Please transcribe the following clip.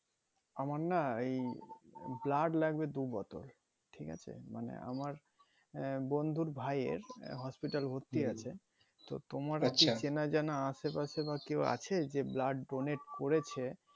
আমারনা এই blood লাগবে দু বোতল ঠিক আছে মানে আমার বন্ধুর ভাই এর hospital ভর্তি আছে তো তোমার চেনা জানা আশেপাশে বা কেউ আছে যে blood donate করেছে